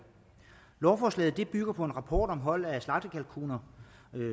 lovforslaget bygger på en rapport om hold af slagtekalkuner